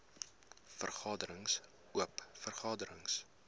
vergaderings oop vergaderings